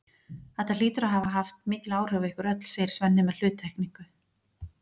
Þetta hlýtur að hafa haft mikil áhrif á ykkur öll, segir Svenni með hluttekningu.